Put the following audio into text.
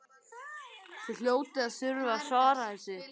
Þið hljótið að þurfa að svara þessu?